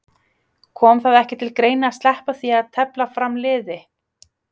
Kom það ekki til greina að sleppa því að tefla fram liði?